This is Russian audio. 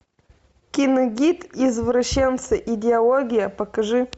киногид извращенцы идеология покажи